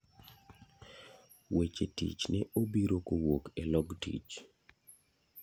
Weche tich ne obiro kowuok e log tich.